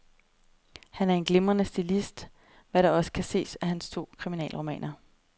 Han er en glimrende stilist, hvad der også kan ses af hans to kriminalromaner.